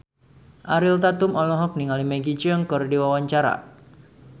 Ariel Tatum olohok ningali Maggie Cheung keur diwawancara